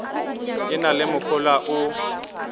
e na le mohola o